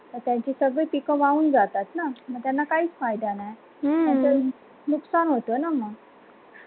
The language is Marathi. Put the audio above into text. त्यांचे सगळे पीक वाहून जातात. न मग त्यांना काही फायदा नाही. मॅम नुकसान होतं आहे न मग